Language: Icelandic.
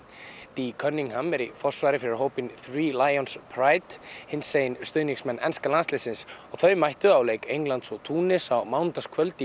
dee Cunningham er í forsvari fyrir hópinn Lions hinsegin stuðningsmenn enska landsliðsins og þau mættu á leik Englands og Túnis á mánudagskvöld í